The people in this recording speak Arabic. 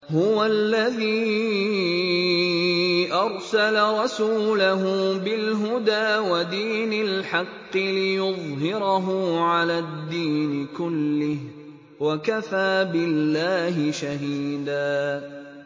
هُوَ الَّذِي أَرْسَلَ رَسُولَهُ بِالْهُدَىٰ وَدِينِ الْحَقِّ لِيُظْهِرَهُ عَلَى الدِّينِ كُلِّهِ ۚ وَكَفَىٰ بِاللَّهِ شَهِيدًا